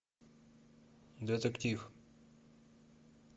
детектив